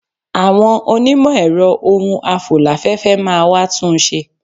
Àwọn onímọ̀ ẹ̀rọ ohun afò láfẹ́fẹ́ máa wá tún un ṣe.